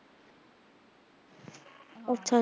ਅੱਛਾ-ਅੱਛਾ